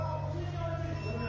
Onlar da bilir.